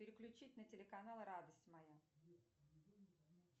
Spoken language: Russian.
переключить на телеканал радость моя